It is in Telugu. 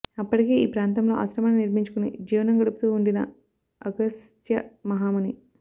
అప్పటికే ఈ ప్రాంతంలో ఆశ్రమాన్ని నిర్మించుకుని జీవనం గడుపుతూ వుండిన అగస్త్య మహాముని